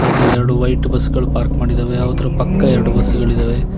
ಹಾಗೆ ಎರಡು white bus ಗಳು ಪಾರ್ಕ್ ಮಾಡಿದ್ದಾವೆ ಅವುದ್ರ ಪಕ್ಕ ಎರಡು ಬಸ್ ಗಳಿದವೆ.